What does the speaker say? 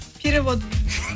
перевод